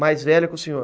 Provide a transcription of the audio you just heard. Mais velha que o senhor?